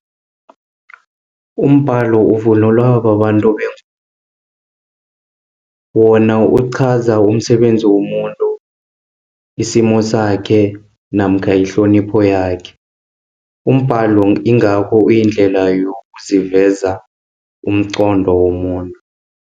Umbalo ukuvunulwa babantu bengubo wona uchaza umsebenzi womuntu, isimo sakhe, namkha ihlonipho yakhe. Umbalo ingakho uyindlela yokuziveza, umqondo womuntu.